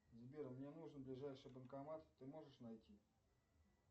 сбер мне нужен ближайший банкомат ты можешь найти